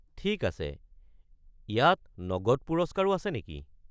ঠিক আছে, ইয়াত নগদ পুৰস্কাৰো আছে নেকি?